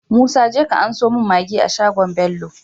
Musa jeka ka anso mun maggi a shagon bello